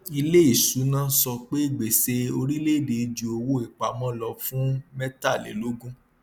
iléìṣúná sọ pé gbèsè orílẹèdè ju owó ìpamọ lọ fún mẹtàlélógún